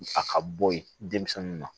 A ka bɔ ye denmisɛnninw na